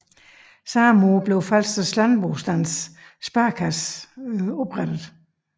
Samme år blev Falsters Landbostands Sparekasse oprettet